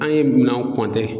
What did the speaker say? An ye minanw